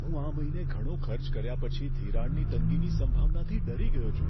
હું આ મહિને ઘણો ખર્ચ કર્યા પછી ધિરાણની તંગીની સંભાવનાથી ડરી ગયો છું.